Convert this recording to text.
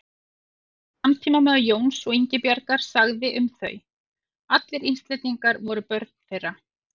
Einn samtímamaður Jóns og Ingibjargar sagði um þau: Allir Íslendingar voru börn þeirra